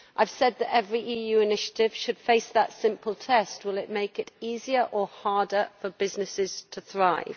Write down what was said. I have said that every EU initiative should face that simple test will it make it easier or harder for businesses to thrive?